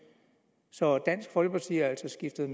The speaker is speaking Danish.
så dansk folkeparti har altså skiftet